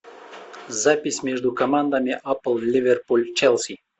запись между командами апл ливерпуль челси